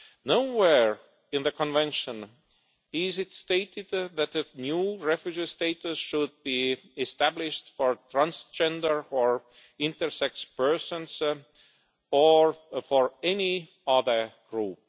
Nowhere in the Convention is it stated that a new refugee status should be established for transgender or intersex persons or for any other group.